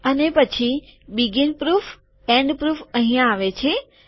અને પછી શરૂઆતની સાબિતી બીગીન પ્રૂફ છેવટની સાબિતી અહીંયા આવે છે